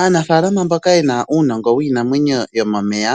Aanafaalama mbaka yena uunongo wiinamwenyo yomomeya